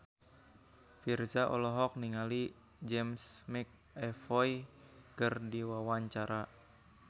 Virzha olohok ningali James McAvoy keur diwawancara